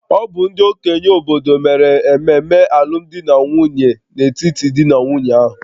Ọ bụ ndị okenye obodo mere ememe alụmdi na nwunye n'etiti di na nwunye ahụ